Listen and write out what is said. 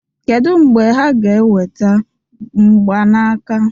kedu mgbe ha ga-eweta mgbanaka